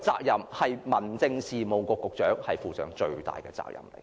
由此可見，民政事務局局長就此應負上最大責任。